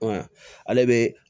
ale bɛ